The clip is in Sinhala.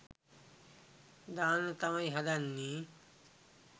දාන්න තමයි හදන්නේ.